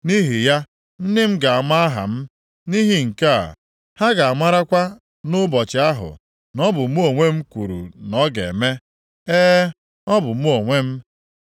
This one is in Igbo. Nʼihi ya, ndị m ga-ama aha m; nʼihi nke a, ha ga-amarakwa nʼụbọchị ahụ na ọ bụ Mụ onwe m kwuru na ọ ga-eme. E, ọ bụ mụ onwe m.”